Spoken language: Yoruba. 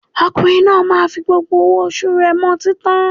Ọkùnrin náà máa fi gbogbo owó oṣù rẹ̀ mu ọtín tán